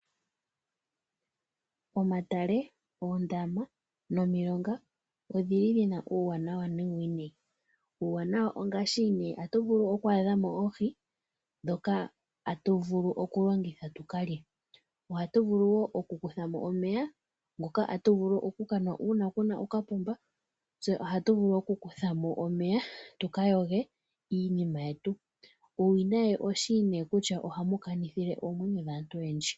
Omatale, oondaama nomilonga odhili dhina uuwanawa nuuwinayi. Uuwanawa ongaashi atu vulu oku adha mo oohi dhoka atu vulu oku longitha tukalye. Ohatu vulu wo oku kutha mo omeya ngoka atu vulu oku kanwa uuna kuna okapomba. Tse ohatu vulu oku kutha mo omeya tuka yoge iinima yetu. Uuwinayi oshi nee kutya ohamu kanithile oomwenyo dhaantu oyendji.